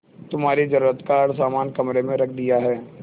तुम्हारे जरूरत का हर समान कमरे में रख दिया है